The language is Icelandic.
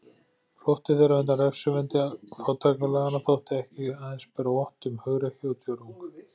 Flótti þeirra undan refsivendi fátækralaganna þótti ekki aðeins bera vott um hugrekki og djörfung.